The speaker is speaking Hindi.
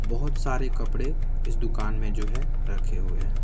बहुत सारे कपड़े इस दुकान में जो है रखे हुए हैं।